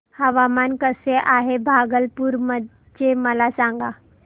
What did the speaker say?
हवामान कसे आहे भागलपुर चे मला सांगा